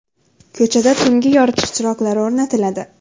Ko‘chada tungi yoritish chiroqlari o‘rnatiladi.